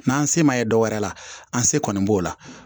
N'an se ma ye dɔ wɛrɛ la an se kɔni b'o la